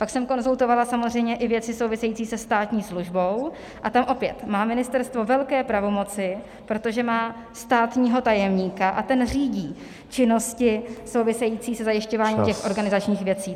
Pak jsem konzultovala samozřejmě i věci související se státní službou, a tam opět má ministerstvo velké pravomoci, protože má státního tajemníka a ten řídí činnosti související se zajišťováním těch organizačních věcí.